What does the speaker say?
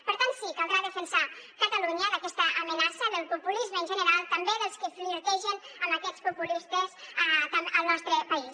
per tant sí caldrà defensar catalunya d’aquesta amenaça del populisme en general també dels que flirtegen amb aquests populistes al nostre país